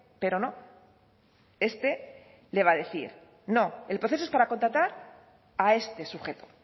pero no este le va a decir no el proceso es para contratar a este sujeto